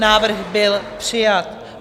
Návrh byl přijat.